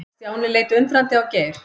Stjáni leit undrandi á Geir.